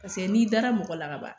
Paseke n'i dara mɔgɔ la kaban